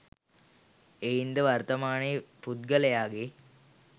එයින් ද වර්තමානයේ පුද්ගලයාගේ